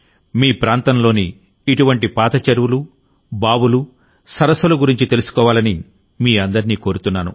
మీ ప్రాంతంలోని ఇటువంటి పాత చెరువులు బావులు సరస్సుల గురించి తెలుసుకోవాలని మీ అందరినీ కోరుతున్నాను